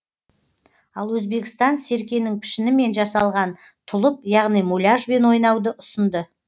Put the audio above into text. ал өзбекстан серкенің пішінімен жасалған тұлып яғни муляжбен ойнауды ұсынды